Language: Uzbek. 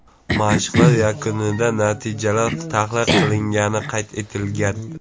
Mashqlar yakunida natijalar tahlil qilingani qayd etilgan.